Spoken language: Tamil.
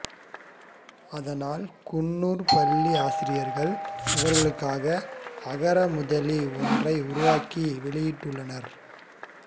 அதனால் குன்னூர் பள்ளி ஆசிரியர்கள் இவர்களுக்காக அகரமுதலி ஒன்றை உருவாக்கி வெளியிட்டுள்ளனர்